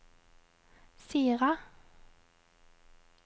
Sira